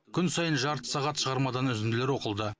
күн сайын жарты сағат шығармадан үзінділер оқылды